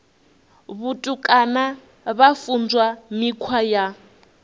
vhutukani vha funzwa mikhwa ya